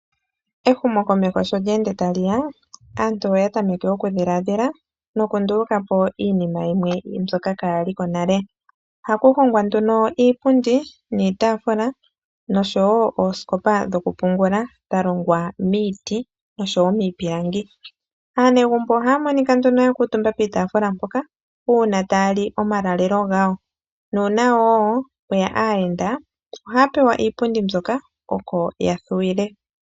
Ehumokomeho sho lyeende tali ya, aantu oya tameke okudhilaadhila, nokunduluka po iinima yimwe mbyoka kaayali ko nale. Ohaku hongwa nduno iipundi niitaafula, nosho woo oosikopa dhokupungula dha longwa miiti nosho woo miipilangi. Aanegumbo ohaa monika nduno ya kuutumba piitafula mpoka, uuna taya li omalalelo gawo, nuuna wo pweya aayenda ohaa pewa iipundi mbyoka oko ya thuwile.